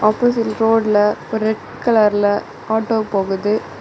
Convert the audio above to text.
Opposite ரோட்ல ஒரு red கலர்ல ஆட்டோ போகுது.